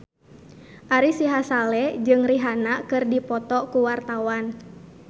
Ari Sihasale jeung Rihanna keur dipoto ku wartawan